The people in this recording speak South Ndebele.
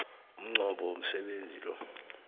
umnqopho womsebenzi lo